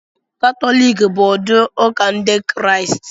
Katọlik bụ ụdị ụka Ndị Kraịst